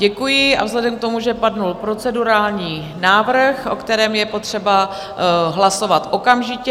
Děkuji a vzhledem k tomu, že padl procedurální návrh, o kterém je potřeba hlasovat okamžitě...